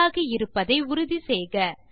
check ஆகி இருப்பதை உறுதி செய்க